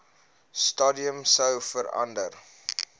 stadium sou verander